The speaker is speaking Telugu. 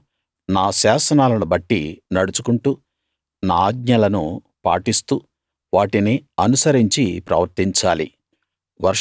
మీరు నా శాసనాలను బట్టి నడుచుకుంటూ నా ఆజ్ఞలను పాటిస్తూ వాటిని అనుసరించి ప్రవర్తించాలి